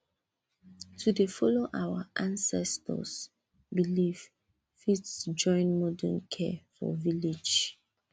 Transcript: to dey follow our ancestors beliefs fit join modern care for village